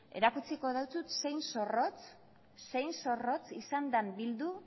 erakutsiko dizut zein zorrotz izan den bildu